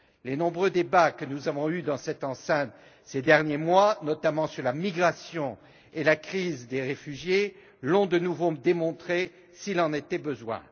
Les nombreux débats que nous avons eus dans cette enceinte ces derniers mois, notamment sur la migration et la crise des réfugiés, l'ont de nouveau démontré, s'il en était besoin.